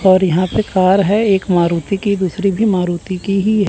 और यहां पे कार है एक मारुति की दूसरी भी मारुति की ही है।